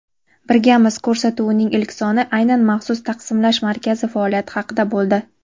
"Birgamiz" – ko‘rsatuvining ilk soni aynan maxsus Taqsimlash markazi faoliyati haqida bo‘ldi.